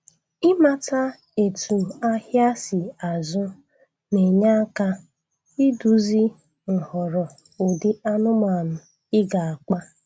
Ịmata etu ahịa si azụ na-enye aka iduzi nghọrọ ụdị anụmanụ ị ga-akpa